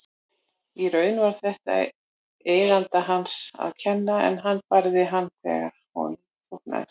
Í raun var þetta eiganda hans að kenna en hann barði hann þegar honum þóknaðist.